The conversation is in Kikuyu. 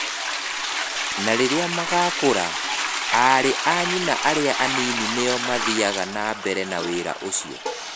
Na rĩrĩa magakũra, aarĩ a nyina arĩa anini nĩo mathiaga na mbere na wĩra ũcio.